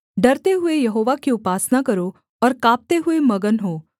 डरते हुए यहोवा की उपासना करो और काँपते हुए मगन हो